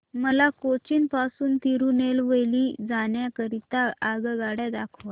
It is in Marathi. मला कोचीन पासून तिरूनेलवेली जाण्या करीता आगगाड्या दाखवा